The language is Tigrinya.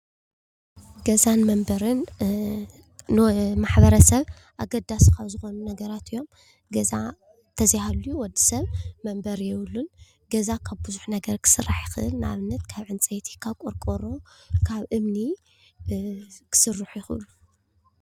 ገዛን መንበሪን ንማሕበረሰብ አገዳሲ ካብ ዝኮኑ ነገራት እዮም ገዛ ተዘይሃልዩ ወድሰብ መንበሪ የብሉን ገዛ ካብ ብዙሕ ነገር ክስራሕ ይኽእል ንኣብነት ካብ ዕንፀይቲ፣ ካብ ቆርቆሮ፣ ካብ እምኒ ክስርሑ ይኽእሉ።